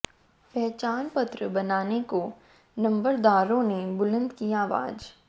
पहचान पत्र बनाने को नंबरदारों ने बुलंद की आवाज